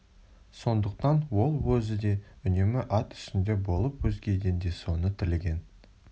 сондықтан ол өзі де үнемі ат үстінде болып өзгеден де соны тілеген